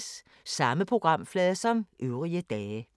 Samme programflade som øvrige dage